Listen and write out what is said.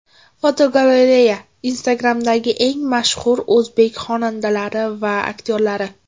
Fotogalereya: Instagram’dagi eng mashhur o‘zbek xonandalari va aktyorlari.